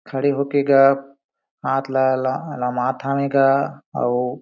खड़े होके ग हाथ ला लमात हवे गा अऊ--